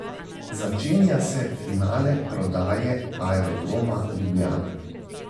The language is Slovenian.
Začenja se finale prodaje Aerodroma Ljubljana.